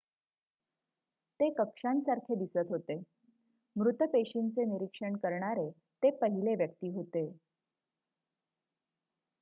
ते कक्षांसारखे दिसत होते मृत पेशींचे निरीक्षण करणारे ते पहिले व्यक्ती होते